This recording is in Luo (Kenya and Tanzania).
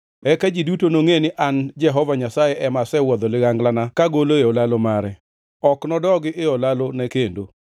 Eka ji duto nongʼe ni an Jehova Nyasaye ema asewuodho liganglana kagolo e olalo mare. Ok nodogi e olalone kendo.’